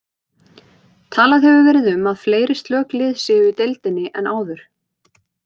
Talað hefur verið um að fleiri slök lið séu í deildinni en áður.